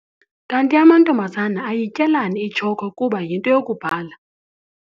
Kanti amantombazana ayityelani itshokhwe kuba yinto yokubhala?